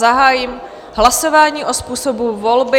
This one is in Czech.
Zahájím hlasování o způsobu volby.